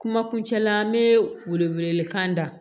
Kuma kuncɛ la n bɛ wele wele kan da